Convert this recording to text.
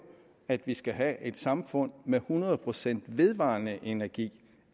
at vi skal have et samfund med hundrede procent vedvarende energi